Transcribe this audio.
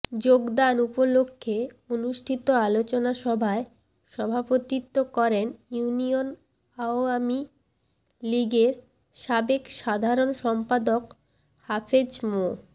যোগদান উপলক্ষে অনুষ্ঠিত আলোচনা সভায় সভাপতিত্ব করেন ইউনিয়ন আওয়ামী লীগের সাবেক সাধারণ সম্পাদক হাফেজ মো